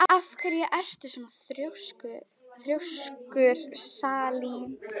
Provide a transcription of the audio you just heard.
Af hverju ertu svona þrjóskur, Salín?